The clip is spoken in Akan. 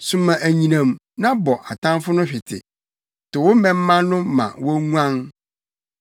Soma anyinam na bɔ atamfo no hwete; to wo mmɛmma no ma wonguan.